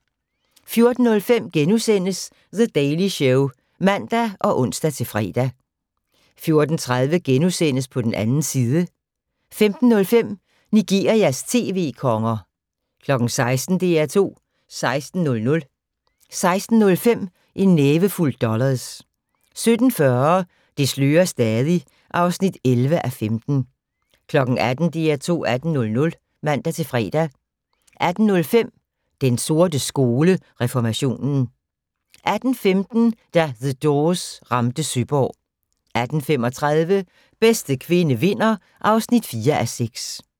14:05: The Daily Show *(man og ons-fre) 14:30: På den 2. side * 15:05: Nigerias tv-konger 16:00: DR2 16:00 16:05: En nævefuld dollars 17:40: Det slører stadig (11:15) 18:00: DR2 18:00 (man-fre) 18:05: Den sorte skole: Reformationen 18:15: Da The Doors ramte Søborg 18:35: Bedste kvinde vinder (4:6)